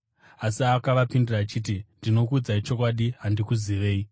“Asi akavapindura achiti, ‘Ndinokuudzai chokwadi, handikuzivei.’